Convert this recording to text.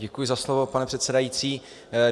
Děkuji za slovo, pane předsedající.